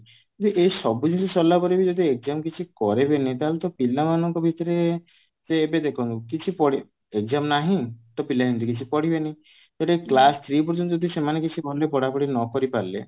ଯଦି ଏ ସବୁ ଜିନିଷ ସରିଲା ପରେ ବି ଯଦି exam କିଛି କରିବେନି ତାହେଲେ ତ ପିଲାମାନଙ୍କ ଭିତରେ ତ ଏବେ ଦେଖନ୍ତୁ କିଛି ପଢି exam ନାହିଁ ତ ପିଲା ଏମିତି ରେ କିଛି ପଢିବେନି ତ ଏଇଟା class three ପର୍ଯ୍ୟନ୍ତ ଯଦି ସେମାନେ କିଛି ଭଲରେ ପଢାପଢି ନ କରି ପାରିଲେ